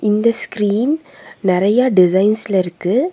இந்த ஸ்கிரீன் நெறைய டிசைன்ஸ்ல இருக்கு.